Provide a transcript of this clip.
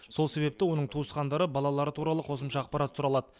сол себепті оның туысқандары балалары туралы қосымша ақпарат сұралады